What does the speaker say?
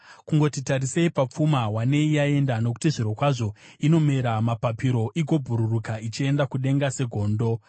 Kungoti tarisei papfuma, wanei yaenda, nokuti zvirokwazvo inomera mapapiro igobhururuka ichienda kudenga segondo.